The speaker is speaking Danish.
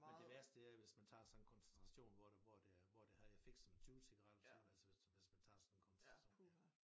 Men det værste det er hvis man tager sådan en koncentration hvor det hvor det er hvor det har effekt som en 20 cigaretter så altså hvis hvis man tager sådan en koncentration